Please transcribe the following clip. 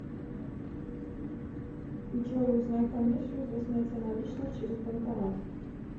джой узнай комиссию за снятие наличных через банкомат